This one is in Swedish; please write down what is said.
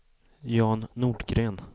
Jan Nordgren